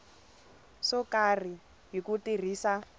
swo karhi hi ku tirhisa